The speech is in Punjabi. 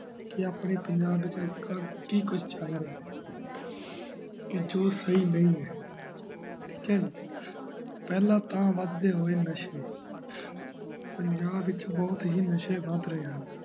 ਕੀ ਆਪਣੇ ਪੰਜਾਬ ਵਿਚ ਅੱਜਕਲ ਕੀ ਕਿ ਕੁਛ ਚਲ ਰਿਹਾ ਜੋ ਸਹੀ ਨੀ ਹੈਂ ਠੀਕ ਹੈ ਪਹਿਲਾ ਤਾਂ ਬਾਦਦੇ ਹੋਏ ਨਸ਼ੇ ਪੰਜਾਬ ਵਿਚ ਬਹੁਤ ਹੀ ਨਸ਼ੇ ਬੱਧ ਰਹੇ ਹਨ